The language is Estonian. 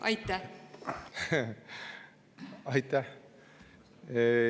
Aitäh!